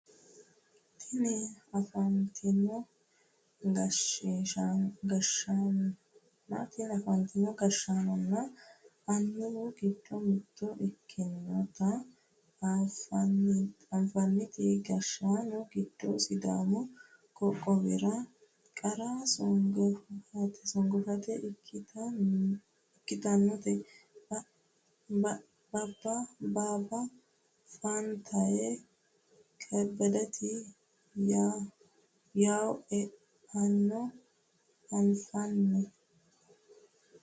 Tini afantino gashshaanonna annuwu giddo mitto ikkitinota afantino gashshaano giddo sidaamu qoqqowira qara songaafitte ikkitinoti baabba faantaye kebbedeta yawo e'anna anfanni